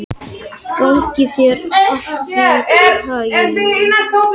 Gangi þér allt í haginn, Maía.